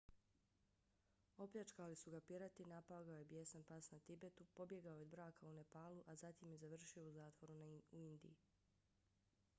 opljačkali su ga pirati napao ga je bijesan pas na tibetu pobjegao je od braka u nepalu a zatim je završio u zatvoru u indiji